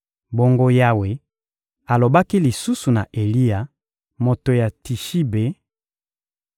Bongo Yawe alobaki lisusu na Eliya, moto ya Tishibe: